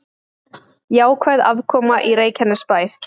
Jákvæð afkoma í Reykjanesbæ